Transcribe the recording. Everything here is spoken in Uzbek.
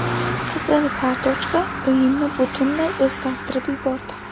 Qizil kartochka o‘yinni butunlay o‘zgartirib yubordi.